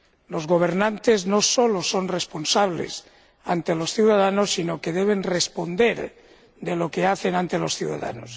Los gobernantes no solo son responsables ante los ciudadanos sino que también deben responder de lo que hacen ante los ciudadanos.